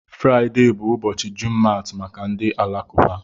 Friday bụ ụbọchị Jumat maka ndị Alakụba.